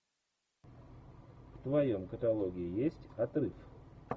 в твоем каталоге есть отрыв